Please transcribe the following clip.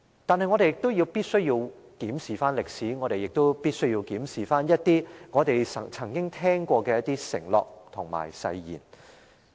但是，我們必須檢視歷史，也必須檢視一些我們曾經聽過的承諾及誓言。